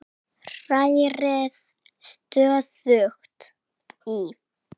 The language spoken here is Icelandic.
Hrærið stöðugt í.